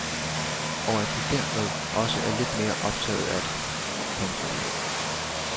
Og at du dermed også er lidt mere optaget af det. punktum